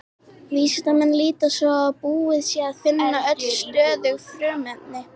Vísindamenn líta svo á að búið sé að finna öll stöðug frumefni.